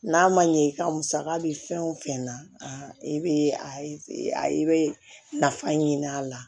N'a ma ɲɛ i ka musaka bɛ fɛn o fɛn na e bɛ a ye a i bɛ nafa ɲini a la